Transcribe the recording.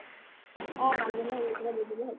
অʼ নাজিমক এই কেইটা দি দিলে হʼল।